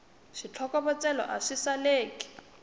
switlokovetselo a swi saleki